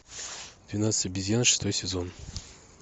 двенадцать обезьян шестой сезон